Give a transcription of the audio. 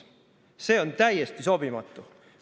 See on täiesti sobimatu.